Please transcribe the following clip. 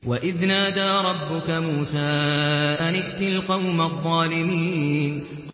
وَإِذْ نَادَىٰ رَبُّكَ مُوسَىٰ أَنِ ائْتِ الْقَوْمَ الظَّالِمِينَ